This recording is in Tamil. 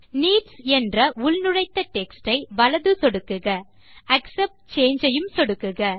நீட்ஸ் என்ற உள்நுழைத்த டெக்ஸ்ட் ஐ வலது சொடுக்குக ஆக்செப்ட் சாங்கே ஐயும் சொடுக்குக